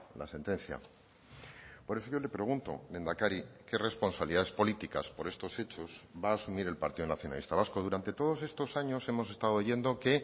la sentencia por eso yo le pregunto lehendakari qué responsabilidades políticas por estos hechos va a asumir el partido nacionalista vasco durante todos estos años hemos estado oyendo que